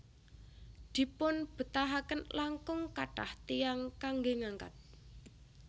Dipunbetahaken langkung kathah tiyang kanggé ngangkat